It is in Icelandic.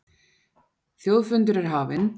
Þjóðfundur er hafinn